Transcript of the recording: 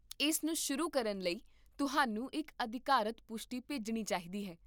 ਇਸ ਨੂੰ ਸ਼ੁਰੂ ਕਰਨ ਲਈ ਤੁਹਾਨੂੰ ਇੱਕ ਅਧਿਕਾਰਤ ਪੁਸ਼ਟੀ ਭੇਜਣੀ ਚਾਹੀਦੀ ਹੈ